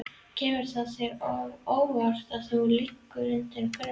Kemur það þér á óvart að þú liggir undir grun?